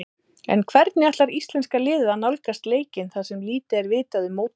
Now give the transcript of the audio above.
En hvernig ætlar íslenska liðið að nálgast leikinn þar sem lítið er vitað um mótherjana?